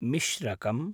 मिश्रकम्